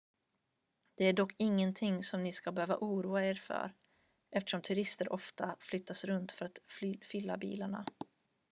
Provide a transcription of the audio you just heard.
det är dock ingenting som ni ska behöva oroa er för eftersom turister ofta flyttas runt för att fylla bilarna